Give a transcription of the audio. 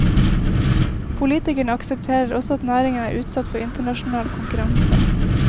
Politikerne aksepterer også at næringen er utsatt for internasjonal konkurranse.